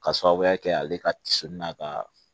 Ka sababuya kɛ ale ka tiso n'a ka